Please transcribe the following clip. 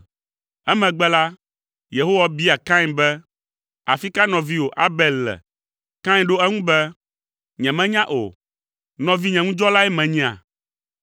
Emegbe la, Yehowa bia Kain be, “Afi ka nɔviwò, Abel le?” Kain ɖo eŋu be, “Nyemenya o. Nɔvinyeŋudzɔlae menyea?”